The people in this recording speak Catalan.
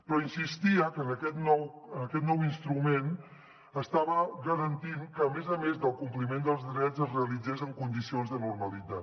però insistia que aquest nou instrument estava garantint que a més a més el compliment dels drets es realitzés en condicions de normalitat